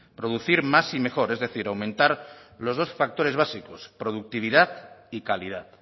producir más y mejor es decir aumentar los dos factores básicos productividad y calidad